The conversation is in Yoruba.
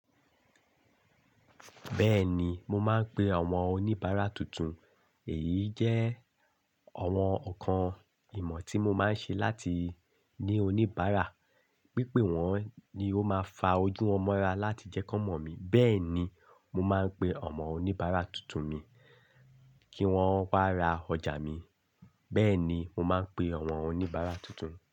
Bẹ́ẹ̀ni, mo máa ń pe àwọn oníbàárà tuntun. Èyí jẹ́ àwọn nkan ìmọ̀ tí mo máa ń ṣe láti ní oníbàárà. Pípé wọ́n ni ó máa fa ojú won ọmọ ra láti jẹ́ kí wọ́n mọ̀ mí. Bẹ́ẹ̀ ni, mo máa ń pe àwọn oníbàárà tuntun mi kí wọ́n wá ra ọjà mi. Bẹ́ẹ̀ ni, mo máa ń pe àwọn oníbàárà tuntun.